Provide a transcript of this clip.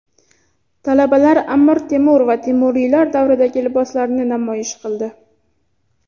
Talabalar Amir Temur va temuriylar davridagi liboslarni namoyish qildi.